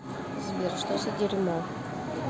сбер что за дерьмо